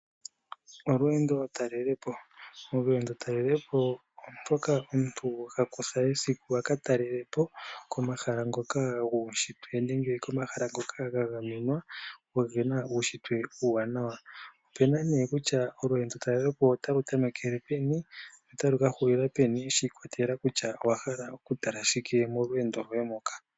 Olweendo talelepo, olweendo talelepo olo omuntu ha kutha esiku aka talele po komahala ngoka guushitwe nenge komahala ngoka ga gamenwa gena uushitwe uuwanawa. Opena kutya olweendo nduka otali tamekele peni no tali kahulila peni, shi ikwatelela kutya owa hala okumona shike molweendo lwoye moka.